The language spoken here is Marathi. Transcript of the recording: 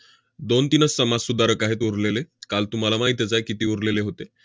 दोन-तीनच समाजसुधारक आहेत उरलेले. काल तुम्हाला माहीतच आहे किती उरलेले होते.